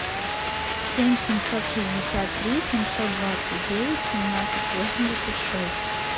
семь семьсот шестьдесят три семьсот двадцать девять семнадцать восемьдесят шесть